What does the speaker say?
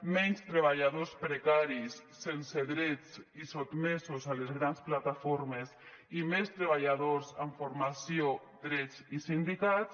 menys treballadors precaris sense drets i sotmesos a les grans plataformes i més treballadors amb formació drets i sindicats